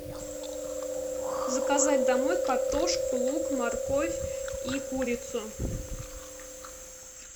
заказать домой картошку лук морковь и курицу